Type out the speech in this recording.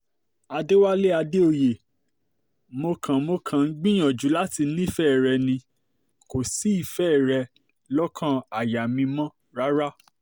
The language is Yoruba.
àdẹ̀wálé àdèòye mo kàn mo kàn ń gbìyànjú láti nífẹ̀ẹ́ rẹ ni kò sífẹ̀ẹ́ rẹ lọ́kàn àyà mi mọ́ rárá